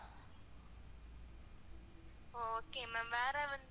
அஹ் okay ma'am வேற வந்து